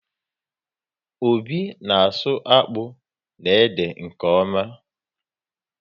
Obi na asụ akpụ na ede nke ọma